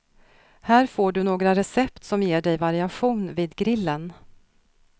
Här får du några recept som ger dig variation vid grillen.